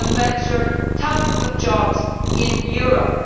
It would endanger thousands of jobs in Europe.